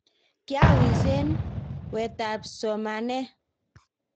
kiawiss eng wetab somanee..